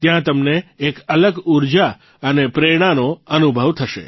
ત્યાં તમને એક અલગ ઊર્જા અને પ્રેરણાનો અનુભવ થશે